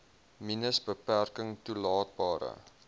minus beperking toelaatbare